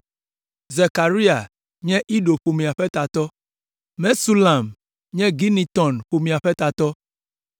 Zekaria nye Ido ƒomea ƒe tatɔ, Mesulam nye Gineton ƒomea ƒe tatɔ,